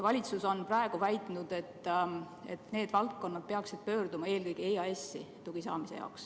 Valitsus on praegu väitnud, et need valdkonnad peaksid pöörduma toe saamise jaoks eelkõige EAS-i poole.